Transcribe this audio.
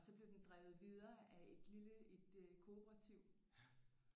Og så blev den drevet videre af et lille et øh cooperativ